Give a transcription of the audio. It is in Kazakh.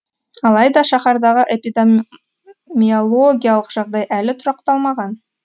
алайда шаһардағы эпидемиалогиялық жағдай әлі тұрақталмаған